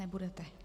Nebudete.